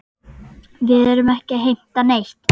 Við erum ekki að heimta neitt.